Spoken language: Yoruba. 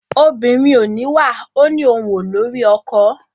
obìnrin ò níwà ò ní òun ò lórí ọkọ.